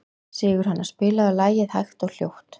Sigurhanna, spilaðu lagið „Hægt og hljótt“.